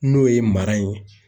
N'o ye mara in ye.